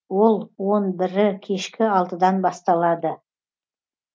ол он бірі кешкі алтыдан басталады